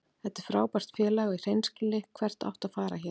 Þetta er frábært félag og í hreinskilni, hvert áttu að fara héðan?